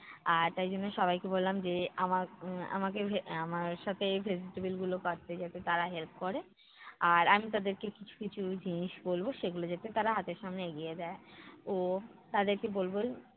আর তাই জন্য সবাইকে বললাম যে আমার উম আমাকে উম আমার সাথে vegetable গুলো কাটতে যাতে তারা help করে, আর আমি তাদেরকে কিছু কিছু জিনিস বলবো সেগুলো যাতে তারা হাতের সামনে এগিয়ে দেয়। ও তাদেরকে বলবো